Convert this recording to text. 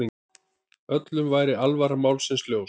Öllum væri alvara málsins ljós.